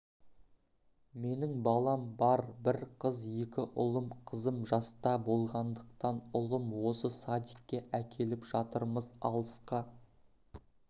менің балам бар бір қыз екі ұлым қызым жаста болғандықтан ұлым осы садикке әкеліп жатырмыз алысқа